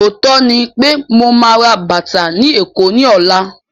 Ọ̀ọ́tọ́ ní pé mo ma rà bàtà ni Èkó ni ọ̀la